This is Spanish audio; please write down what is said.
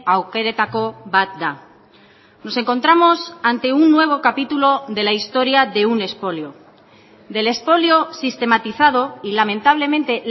aukeretako bat da nos encontramos ante un nuevo capítulo de la historia de un expolio del expolio sistematizado y lamentablemente